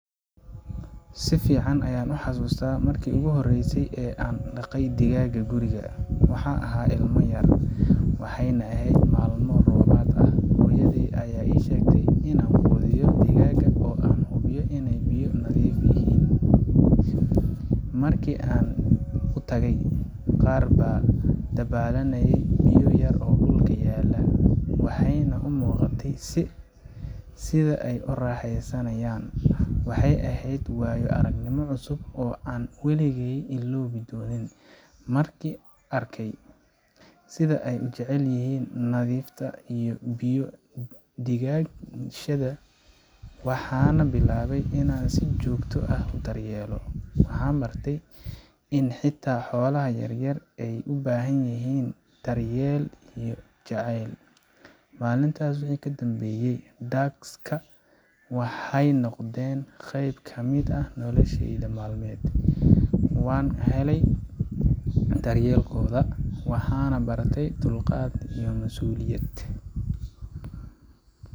si fiican ayaan u xasuustaa markii ugu horreysay ee aan dhaqay digaag guriga. Waxaan ahaa ilmo yar, waxayna ahayd maalmo roobaad ah. Hooyaday ayaa ii sheegtay in aan quudiyo digaagga oo aan hubiyo inay biyahooda nadiif yihiin. Markii aan u tagay, qaar baa dabaalanayay biyo yar oo dhulka yaallay, waxayna u muuqatay sida ay u raaxeysanayaan. Waxay ahayd waayo aragnimo cusub oo aan weligay illoobi doonin. Markii aan arkay sida ay u jecel yihiin nadiifta iyo biyo dhigashada, waxaan bilaabay inaan si joogto ah u daryeelo. Waan bartay in xitaa xoolaha yar yar ay u baahan yihiin daryeel iyo jacayl. Maalintaas wixii ka dambeeyay, ducks kaa waxay noqdeen qeyb ka mid ah nolosheyda maalin walba. Waan ka helay daryeelkooda, waxaana bartay dulqaad iyo mas’uuliyad.